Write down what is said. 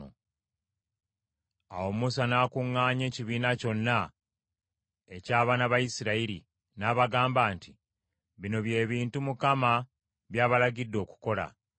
Awo Musa n’akuŋŋaanya ekibiina kyonna eky’abaana ba Isirayiri, n’abagamba nti, “Bino bye bintu Mukama by’abalagidde okukola.